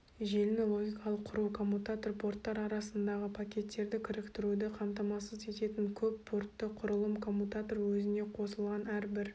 желіні логикалық құру коммутатор порттар арасындағы пакеттерді кіріктіруді қамтамасыз ететін көппортты құрылым коммутатор өзіне қосылған әрбір